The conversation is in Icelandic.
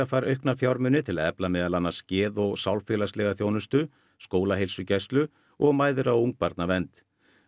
fær aukna fjármuni til að efla meðal annars geð og sálfélagslega þjónustu skólaheilsugæslu og mæðra og ungbarnavernd